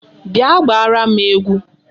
Bịa gbaara m egwu!